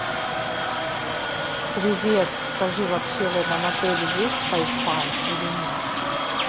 привет скажи вообще в этом отеле есть вай фай или нет